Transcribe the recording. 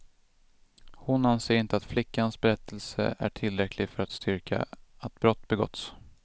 Hon anser inte att flickans berättelse är tillräcklig för att styrka att brott begåtts.